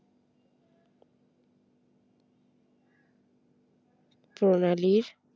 প্রণালীর